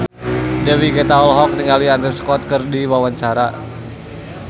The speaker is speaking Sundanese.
Dewi Gita olohok ningali Andrew Scott keur diwawancara